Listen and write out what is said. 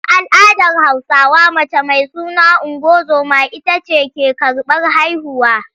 A al’adar Hausawa mace mai suna ungozoma ita ce take karɓar haihuwa.